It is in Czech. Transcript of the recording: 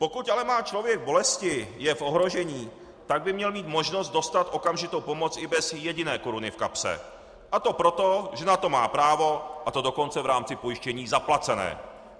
Pokud ale má člověk bolesti, je v ohrožení, tak by měl mít možnost dostat okamžitou pomoc i bez jediné koruny v kapse, a to proto, že na to má právo, a to dokonce v rámci pojištění zaplacené.